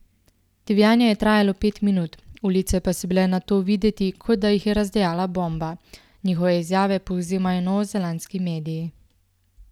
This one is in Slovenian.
Divjanje je trajalo pet minut, ulice pa so bile nato videti, kot da jih je razdejala bomba, njihove izjave povzemajo novozelandski mediji.